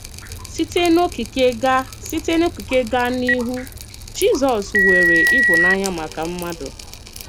Sité n’okike gaa Sité n’okike gaa n’ihu, Jizọs nwere ịhụnanya maka mmadụ.